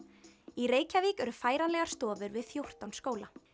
í Reykjavík eru færanlegar stofur við fjórtán skóla